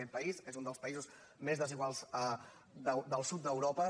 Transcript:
aquest país és un dels països més desiguals del sud d’europa